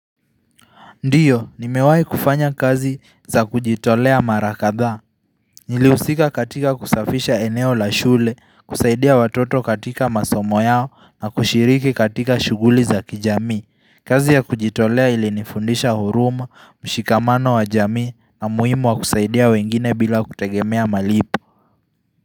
Ndiyo, nimewahi kufanya kazi za kujitolea mara kadhaa. Nilihusika katika kusafisha eneo la shule, kusaidia watoto katika masomo yao na kushiriki katika shughuli za kijamii. Kazi ya kujitolea ilinifundisha huruma, mshikamano wa jamii na umuhimu wa kusaidia wengine bila kutegemea malipo.